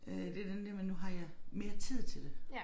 Øh det den der med nu har jeg mere tid til det